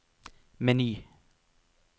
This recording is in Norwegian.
meny